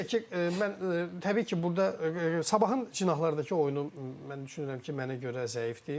Bir də ki, mən təbii ki, burda Sabahın cinahlarındakı oyunu mən düşünürəm ki, mənə görə zəifdir.